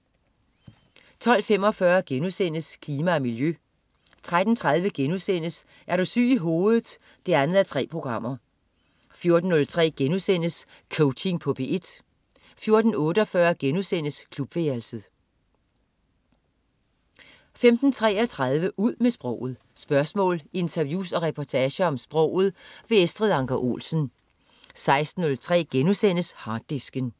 12.45 Klima og miljø* 13.30 Er du syg i hovedet 2:3* 14.03 Coaching på P1* 14.48 Klubværelset* 15.33 Ud med sproget. Spørgsmål, interviews og reportager om sproget. Estrid Anker Olsen 16.03 Harddisken*